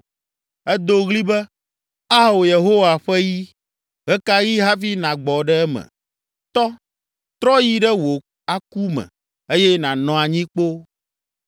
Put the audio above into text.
“Èdo ɣli be, ‘Ao, Yehowa ƒe yi, ɣe ka ɣi hafi nàgbɔ ɖe eme? Tɔ, trɔ yi ɖe wò aku me eye nànɔ anyi kpoo.’